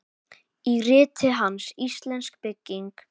Í riti hans, Íslensk bygging